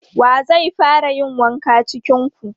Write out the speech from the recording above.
Wa zai fara yin wanka cikin ku?